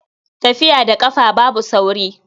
Tafiya da ƙafa babu sauri.